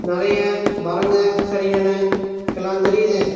நெறைய மரங்க செரிங்கனு எல்லா தெரியிது.